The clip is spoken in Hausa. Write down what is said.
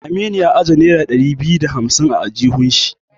Aminu ya ajiye nera ɗari biyu da hamsin da biyar a aljihun shi.